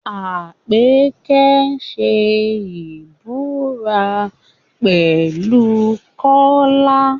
Àpèkẹ́ ṣe ìbúra pẹ̀lú Kọ́lá